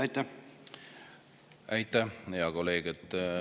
Aitäh, hea kolleeg!